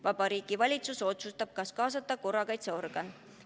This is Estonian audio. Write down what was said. Vabariigi Valitsus otsustab, kas kaasata korrakaitseorgan.